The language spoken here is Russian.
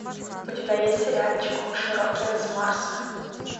у тебя есть сериальчик мыши рокеры с марса